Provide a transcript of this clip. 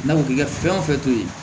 N'a fɔ k'i ka fɛn o fɛn to yen